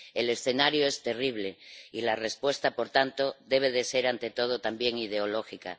El escenario es terrible y la respuesta, por tanto, debe ser, ante todo, también ideológica.